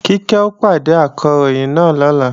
Kíkẹ́ ó pàdé Akọ̀ròyìn náà lọ́la